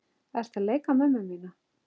Ertu að leika mömmu mína?